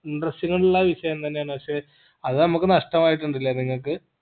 interesting ഉള്ള വിഷയം തന്നെ ആണ് പക്ഷെ അത് നമ്മക്ക് നഷ്ടമായിട്ടിണ്ടാല്ലേ നിങ്ങക്ക്